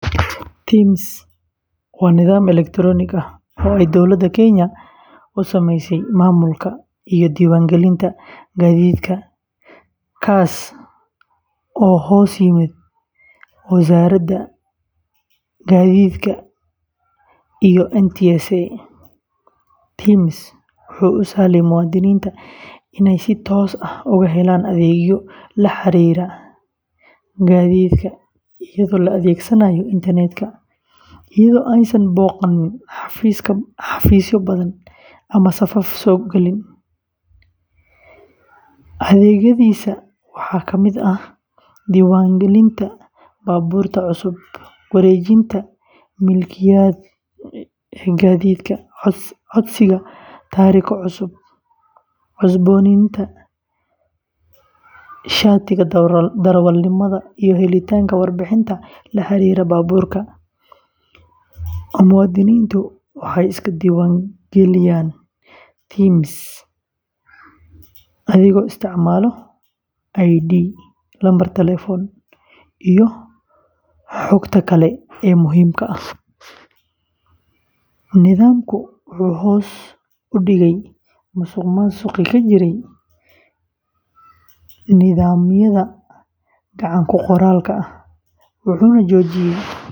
TIMS waa nidaam elektaroonik ah oo ay dowladda Kenya u sameysay maamulka iyo diiwaangelinta gaadiidka, kaas oo hoos yimaada Wasaaradda Gaadiidka iyo NTSA. TIMS wuxuu u sahlayaa muwaadiniinta inay si toos ah uga helaan adeegyo la xiriira gaadiidka iyadoo la adeegsanayo internetka, iyadoo aysan booqan xafiisyo badan ama safaf u galin. Adeegyadiisa waxaa ka mid ah diiwaangelinta baabuurta cusub, wareejinta milkiyadda gaadiidka, codsiga taariko cusub, cusboonaysiinta shatiga darawalnimada, iyo helitaanka warbixin la xiriirta baabuurka. Muwaadiniintu waxay iska diiwaan geliyaan TIMS adigoo isticmaalaya ID, lambar taleefan, iyo xogta kale ee muhiimka ah. Nidaamkani wuxuu hoos u dhigay musuqmaasuqii ka jiray nidaamyada gacan-ku-qoraalka ah, wuxuuna xoojiyay hufnaanta iyo kalsoonida.